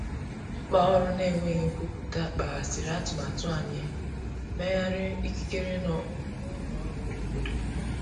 Mkpaọrụ na enweghi nkwụpụta kpaghasiri atụmatụ anyi mmeghari ikikere na ụlọ ọrụ obodo.